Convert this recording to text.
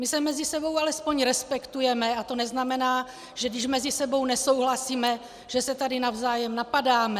My se mezi sebou alespoň respektujeme a to neznamená, že když mezi sebou nesouhlasíme, že se tady navzájem napadáme.